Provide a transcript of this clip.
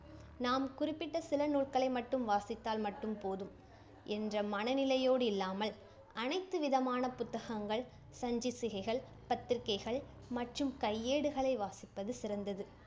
நாம் குறிப்பிட்ட சில நூல்களை மட்டும் வாசித்தால் மட்டும் போதும் என்ற மனநிலையோடு இல்லாமல், அனைத்து விதமான புத்தகங்கள், சஞ்சிசிகைகள், பத்திரிகைகள் மற்றும் கையேடுகளை வாசிப்பது சிறந்தது.